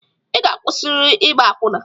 I ga-akwụsịrịrị ịgba akwụna!